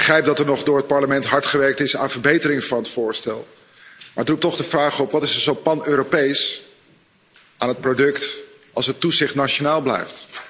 Ik begrijp dat er door het Parlement hard gewerkt is aan de verbetering van het voorstel, maar het roept toch de vraag op wat is er zo pan Europees aan het product als het toezicht nationaal blijft?